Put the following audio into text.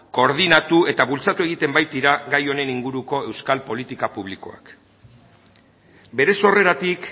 koordinatu eta bultzatu egiten baitira gai honen inguruko euskal politika publikoak bere sorreratik